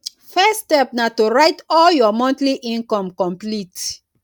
first step na to write all your monthly income complete